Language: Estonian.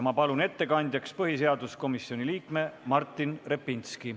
Ma palun ettekandjaks põhiseaduskomisjoni liikme Martin Repinski.